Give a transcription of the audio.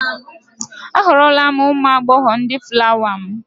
A họrọlarị m ụmụ agbọghọ ndị fulawa m